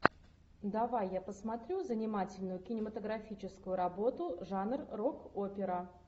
давай я посмотрю занимательную кинематографическую работу жанр рок опера